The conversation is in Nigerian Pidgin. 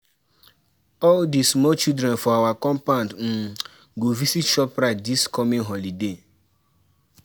all di small children for our compound um go visit shoprite dis coming holiday